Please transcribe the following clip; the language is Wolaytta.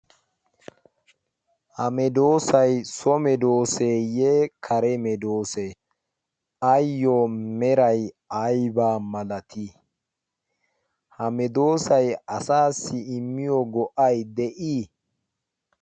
ha medoosay so medooseeyye kare medoosee? ayyo meray aybbaa malatii? ha medoosay asassi immiyo go7ay de7ii?